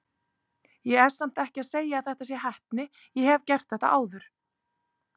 Ég er samt ekki að segja að þetta sé heppni, ég hef gert þetta áður.